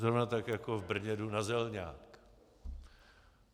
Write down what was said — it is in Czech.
Zrovna tak jako v Brně jdu na Zelňák.